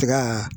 Tika